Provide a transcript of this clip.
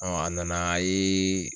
a nana a ye.